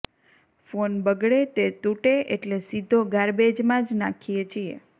phone બગડે તે તૂટે એટલે સીધો ગાર્બેજમાં જ નાખીએ છીએ